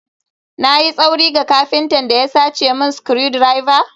Na yi tsauri ga kafinta da ya sace min screwdriver?